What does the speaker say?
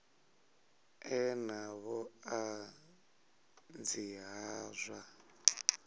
ḓe na vhuṱanzi ha zwa